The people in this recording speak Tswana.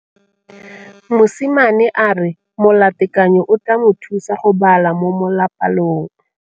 Mosimane a re molatekanyô o tla mo thusa go bala mo molapalong.